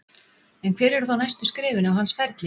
En hver eru þá næstu skrefin á hans ferli?